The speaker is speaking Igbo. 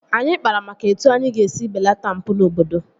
Anyị kpara maka etu anyị ga-esi belata mpụ n'obodo